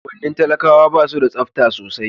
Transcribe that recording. unguwannin talakawa basu da tsafta sosai